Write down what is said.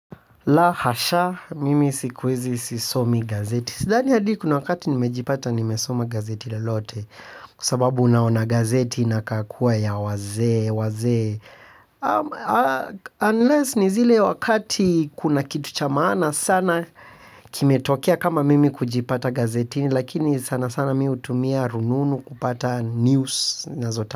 La hasha, mimi siku hizi sisomi gazeti. Sidhani hadi kuna wakati nimejipata nimesoma gazeti lolote. Kwa sababu naona gazeti inakaa kuwa ya wazee, wazee. Unless ni zile wakati kuna kitu cha maana sana. Kimetokea kama mimi kujipata gazetini. Lakini sana sana mimi hutumia rununu kupata news.